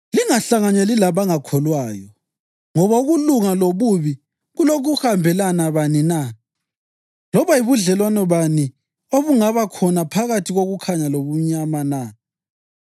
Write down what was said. Lingahlanganyeli labangakholwayo. Ngoba ukulunga lobubi kulokuhambelana bani na? Loba yibudlelwano bani obungaba khona phakathi kokukhanya lobumnyama na?